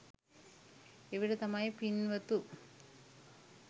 එවිට තමයි පින්වතු